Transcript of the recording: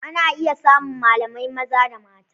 Ana iya samun malamai maza da mata.